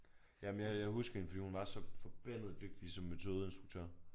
Jamen jeg jeg husker hende fordi hun var så forbandet dygtig som metodeinstruktør